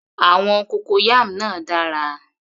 Àwọn cocoyam náà dára